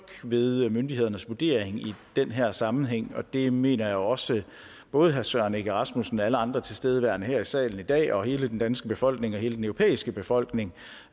ved myndighedernes vurdering i den her sammenhæng og det mener jeg også at både herre søren egge rasmussen og alle andre tilstedeværende her i salen i dag og hele den danske befolkning og hele den europæiske befolkning